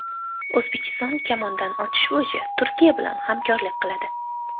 O‘zbekiston kamondan otish bo‘yicha Turkiya bilan hamkorlik qiladi.